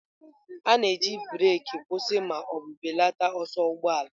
A na-eji breeki kwụsị ma ọ bụ belata ọsọ ụgbọ ala.